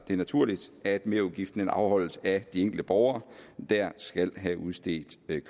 det naturligt at merudgiften afholdes af de enkelte borgere der skal have udstedt